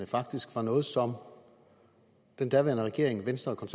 faktisk var nogle som den daværende regering venstre og